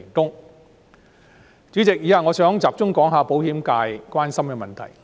代理主席，以下我想集中談談保險界關心的問題。